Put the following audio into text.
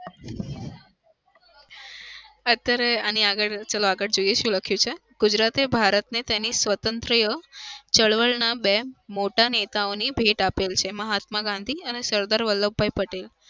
અત્યારે આની આગળ ચાલો આગળ જોઈએ શું લખ્યું છે. ગુજરાતે ભારતને તેની સ્વતંત્રીય ચળવળના બે મોટા નેતાઓની ભેટ આપી છે. મહાત્મા ગાંધી અને સરદાર વલ્લભભાઇ પટેલ.